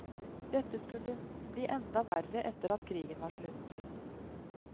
Dette skulle bli enda verre etter at krigen var slutt.